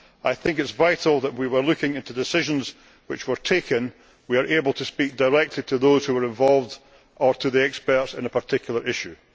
I think it is vital that, when we are looking into decisions which were taken, we are able to speak directly to those who were involved, or to the experts on a particular issue.